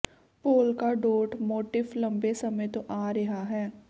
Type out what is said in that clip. polka dot motif ਲੰਬੇ ਸਮੇਂ ਤੋਂ ਆ ਰਿਹਾ ਹੈ